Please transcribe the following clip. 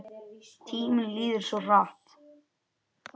Tíminn líður svo hratt.